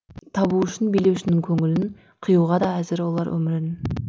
табу үшін билеушінің көңілін қиюға да әзір олар өмірін